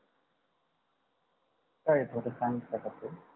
ताई थोड सांगता का